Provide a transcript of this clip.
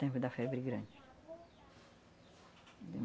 Tempo da febre grande. De